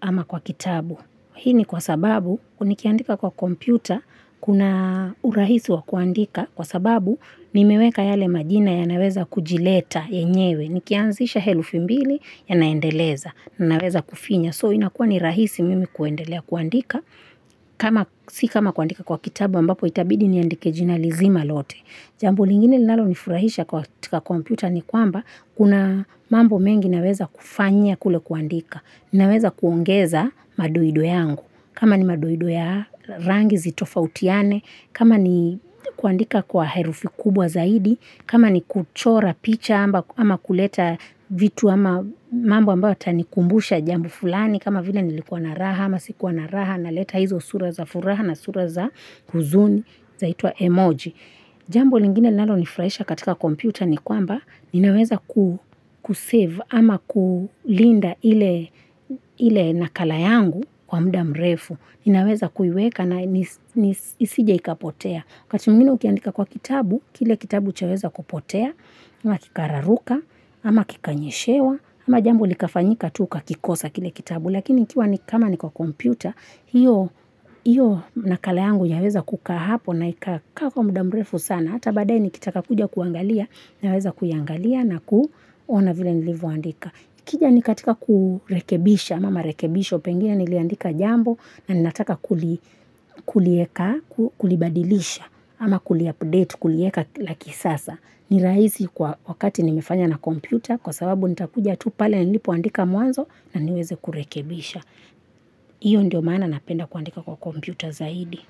ama kwa kitabu. Hii ni kwa sababu nikiandika kwa kompyuta kuna urahisi wa kuandika kwa sababu nimeweka yale majina yanaweza kujileta enyewe. Nikianzisha herufi mbili yanaendeleza na naweza kufinya. So inakuwa ni rahisi mimi kuendelea kuandika kama si kama kuandika kwa kitabu ambapo itabidi niandike jinalizima lote. Jambo lingine linalo nifurahisha kwa komputa ni kwamba kuna mambo mengi naweza kufanya kule kuandika, naweza kuongeza madoido yangu, kama ni madoido ya rangi zitofautiane, kama ni kuandika kwa herufi kubwa zaidi, kama ni kuchora picha ama kuleta vitu ama mambo ambayo yatanikumbusha jambo fulani, kama vile nilikuwa na raha ama sikuwa na raha na leta hizo sura za furaha na sura za huzuni zaitwa emoji. Jambo lingine nalo furaisha katika kompyuta ni kwamba ninaweza kusave ama kulinda ile nakala yangu kwa mda mrefu. Ninaweza kuiweka na isije ikapotea. Kati mwingine ukiendika kwa kitabu, kile kitabu chaweza kupotea, ama kikararuka, ama kikanyeshewa, ama jambuo likafanyika tu ila kikosa kile kitabu. Lakini ikiwa ni kama ni kwa kompyuta, hiyo nakala yangu yaweza kuka hapo na ikakaa kwa mudamrefu sana, ata baadaye nikitaka kuja kuangalia, naweza kuyangalia na kuona vile nilivuandika. Kija nikatika kurekebisha, mama rekebisho pengia niliandika jambo, na ninataka kulieka, kulibadilisha, ama kuli update, kulieka laki sasa. Ni raisi kwa wakati nimefanya na kompyuta kwa sababu nitakuja tu pale ya nilipoandika mwanzo na niweze kurekebisha. Iyo ndio maana napenda kuandika kwa kompyuta zaidi.